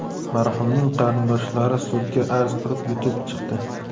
Marhumning qarindoshlari sudga arz qilib, yutib chiqdi.